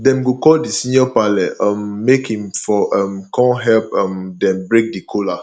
dem go call di senior parle um make him for um kon help um dem break the kola